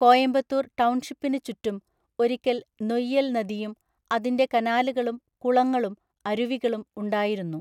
കോയമ്പത്തൂർ ടൗൺഷിപ്പിന് ചുറ്റും ഒരിക്കൽ നൊയ്യൽ നദിയും അതിന്‍റെ കനാലുകളും കുളങ്ങളും അരുവികളും ഉണ്ടായിരുന്നു.